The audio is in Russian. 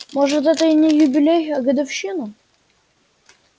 может это и не юбилей а годовщина